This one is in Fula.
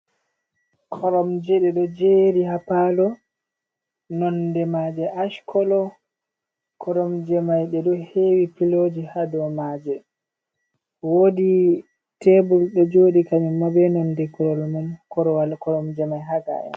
Koromje ɗe ɗo jeri ha Palo nonde maje ash kolo koromje mai ɗe ɗo hewi piloji ha dow maje wodi tebul ɗo joɗi kanjum ma be nonde Korwal nan Koromje mai ha ga'en.